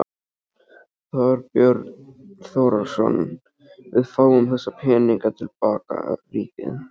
Þorbjörn Þórðarson: Við fáum þessa peninga til baka, ríkið?